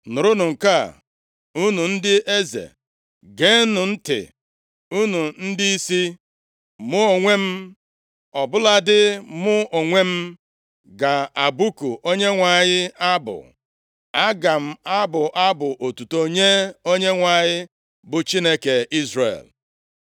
“Nụrụnụ nke a, unu ndị eze, Geenụ ntị, unu ndịisi! Mụ onwe m, ọ bụladị mụ onwe m, ga-abụku Onyenwe anyị abụ. Aga m abụ abụ otuto nye Onyenwe anyị, bụ Chineke Izrel.